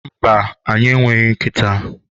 mba, anyị e nweghị nkịta